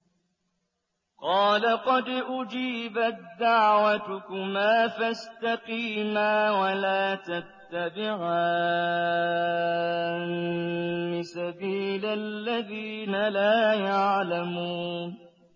قَالَ قَدْ أُجِيبَت دَّعْوَتُكُمَا فَاسْتَقِيمَا وَلَا تَتَّبِعَانِّ سَبِيلَ الَّذِينَ لَا يَعْلَمُونَ